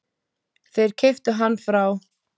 Þeir keyptu hann frá